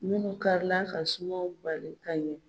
Munnu karila ka sumanw bali ka ɲɛ.